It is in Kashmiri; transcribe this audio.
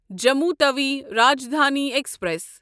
جموں تَوِی راجدھانی ایکسپریس